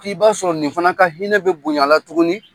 K'i b'a sɔrɔ nin fana ka hinɛ bɛ bonyala tuguni.